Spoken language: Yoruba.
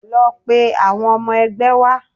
Lọ pe awon ọmọ ẹgbẹ́ wá!